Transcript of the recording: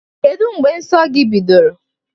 Kedụ mgbe nsọ gị bidoro?